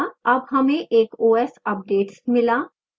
अब हमें एक os updates मिला